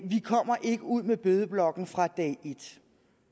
kommer ikke ud med bødeblokken fra dag et